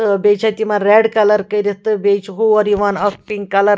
تہٕ بیٚیہِ چھ اَتہِ یِمن ریڈ کلر کٔرِتھ تہٕ بیٚیہِ چھ ہوریِوان اکھ پِنک .کلر